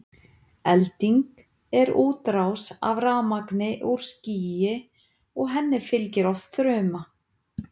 elding er útrás af rafmagni úr skýi og henni fylgir oft þruma